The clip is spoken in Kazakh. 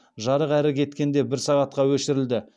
жарық әрі кеткенде бір сағатқа өшірілді